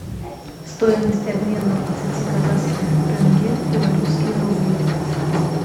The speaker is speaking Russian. стоимость обмена двадцати казахских тенге в белорусские рубли